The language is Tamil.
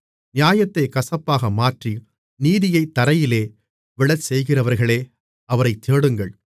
நியாயத்தைக் கசப்பாக மாற்றி நீதியைத் தரையிலே விழச்செய்கிறவர்களே அவரைத் தேடுங்கள்